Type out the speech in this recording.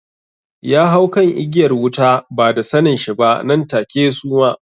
Ya hau kan igiyar wuta ba da sanen shi ba nan take ya suma